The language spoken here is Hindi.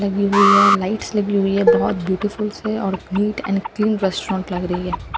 लगी हुई है लाइट्स लगी हुई है बहुत ब्यूटीफुल से और नीट एंड क्लीन रेस्टोरेंट लग रही है।